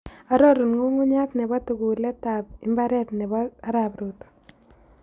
Arorun ng'ung'uny'aat ne po tuguletap iimbaareet ne po arap ruto